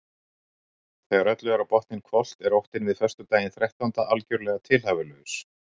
Þegar öllu er á botninn hvolft er óttinn við föstudaginn þrettánda algjörlega tilhæfulaus.